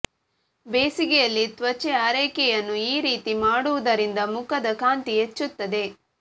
ಬೇಸಿಗೆಯಲ್ಲಿ ತ್ವಚೆ ಆರೈಕೆಯನ್ನು ಈ ರೀತಿ ಮಾಡುವುದರಿಂದ ಮುಖದ ಕಾಂತಿ ಹೆಚ್ಚುತ್ತದೆ